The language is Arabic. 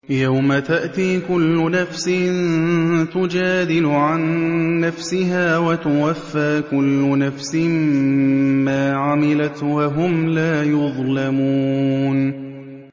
۞ يَوْمَ تَأْتِي كُلُّ نَفْسٍ تُجَادِلُ عَن نَّفْسِهَا وَتُوَفَّىٰ كُلُّ نَفْسٍ مَّا عَمِلَتْ وَهُمْ لَا يُظْلَمُونَ